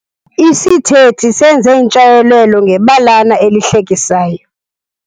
Isithethi senze intshayelelo ngebalana elihlekisayo.